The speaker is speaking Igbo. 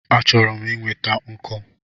Achọrọ m inweta nkụ